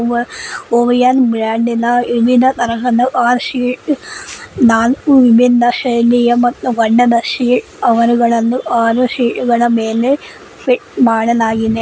ವ ಓವಯನ್ ಬ್ರಾಂಡ್ ಇನ ಆರು ಸೀಟ್ ನಾಲ್ಕು ವಿಮೆನ್ ನ ಶೈಲಿಯ ಮತ್ತು ಫಿಟ್ ಮಾಡಲಾಗಿದೆ.